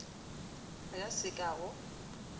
a ka se ka go